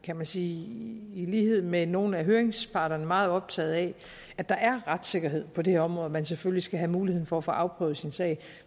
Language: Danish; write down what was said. kan man sige i lighed med nogle af høringsparterne meget optaget af at der er retssikkerhed på det her område man selvfølgelig skal have mulighed for at få afprøvet sin sag